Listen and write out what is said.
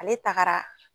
Ale tagara